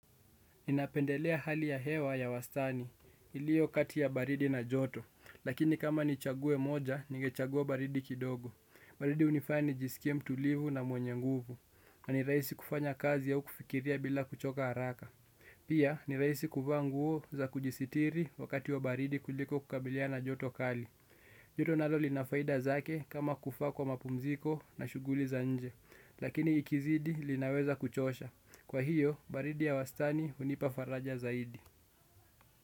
Ninapendelea hali ya hewa ya wastani, ilio kati ya baridi na joto, lakini kama nichague moja, ningechagua baridi kidogo. Baridi hunifanya nijisikie mtulivu na mwenye nguvu. Na ni rahisi kufanya kazi au kufikiria, bila kuchoka haraka. Pia ni rahisi kuvaa nguo, za kujisitiri wakati ya baridi kuliko kukabiliana na joto kali. Joto nalo lina faida zake kama kufaa kwa mapumziko, na shughuli za nje. Lakini ikizidi linaweza kuchosha. Kwa hiyo, baridi ya wastani, hunipa faraja zaidi.